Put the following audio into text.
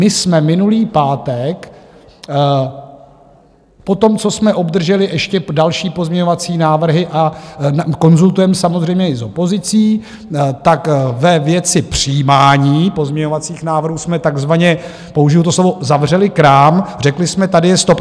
My jsme minulý pátek potom, co jsme obdrželi ještě další pozměňovací návrhy, a konzultujeme samozřejmě i s opozicí, tak ve věci přijímání pozměňovacích návrhů jsme takzvaně - použiji to slovo - zavřeli krám, řekli jsme, tady je stop.